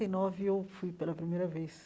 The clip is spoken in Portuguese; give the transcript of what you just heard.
e nove, eu fui pela primeira vez.